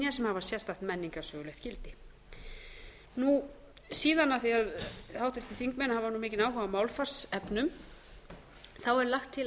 hafa sérstakt menningarsögulegt gildi níundi síðan af því að háttvirtir þingmenn hafa mikinn áhuga á málfarsefnum er lagt til